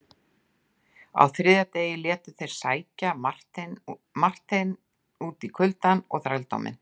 Á þriðja degi létu þeir sækja Marteinn út í kuldann og þrældóminn.